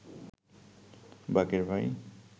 বাকের ভাই